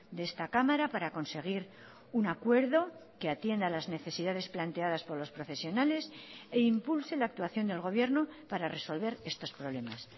de esta cámara para conseguir un acuerdo que atienda a las necesidades planteadas por los profesionales e impulse la actuación del gobierno para resolver estos problemas